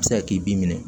A bɛ se ka k'i b'i minɛ